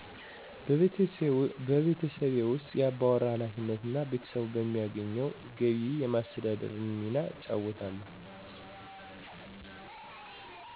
በቤተሠቤ ውስ የአባወራ ኃላፊነት እና ቤተሰቡን በማገኘው ገቢ የማስተዳደር ሚና እጫወታለሁ